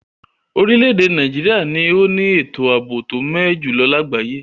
Orílèdè Naijiria ni o ni ètò àbò to mé ẹ jùlo lagbaye